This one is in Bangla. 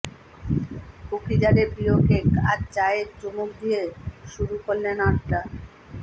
কুকি জারের প্রিয় কেক আর চায়ে চুমুক দিয়ে শুরু করলেন আড্ডা